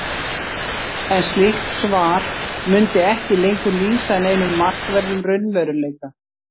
en slíkt svar mundi ekki lengur lýsa neinum markverðum raunveruleika